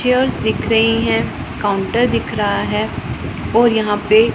chairs दिख रही हैं काउंटर दिख रहा है और यहां पे--